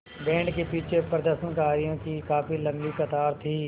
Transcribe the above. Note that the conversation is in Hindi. बैंड के पीछे प्रदर्शनकारियों की काफ़ी लम्बी कतार थी